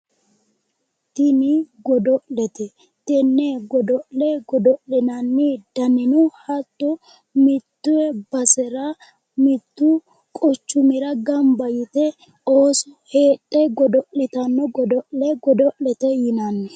Tini godo'lete tenne godo'le, godo'linanni danino hatto mitte basera mittu quchumira gamba yite ooso heedhe godo'litanno godo'le godo'lete yinanni.